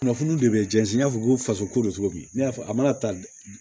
Kunnafoniw de bɛ jɛnzɛn n'a fɔ ko faso ko don cogo min ne y'a fɔ a mana ta